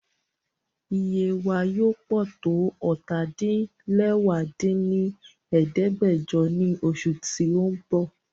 Iye wa yoo pọ to ọ́ta-din-lẹwá dín ní ẹ̀ẹ́dẹ́gbẹ́jọ ni oṣu ti n bọ